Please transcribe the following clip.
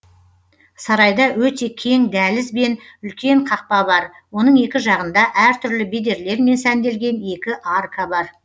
сарайда өте кең дәліз бен үлкен қақпа бар оның екі жағында әртүрлі бедерлермен сәнделген екі арка бар